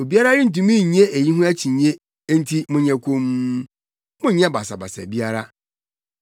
Obiara rentumi nnye eyi ho akyinnye enti monyɛ komm, monnyɛ basabasa biara.